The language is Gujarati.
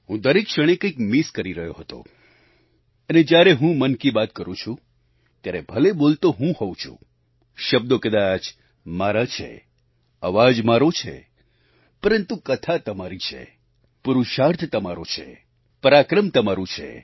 હું દરેક ક્ષણે કંઈક મિસ કરી રહ્યો હતો અને જ્યારે હું મન કી બાત કરું છું ત્યારે ભલે બોલતો હું હોવ છું શબ્દો કદાચ મારા છે અવાજ મારો છે પરંતુ કથા તમારી છે પુરુષાર્થ તમારો છે પરાક્રમ તમારું છે